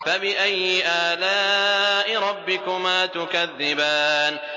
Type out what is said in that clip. فَبِأَيِّ آلَاءِ رَبِّكُمَا تُكَذِّبَانِ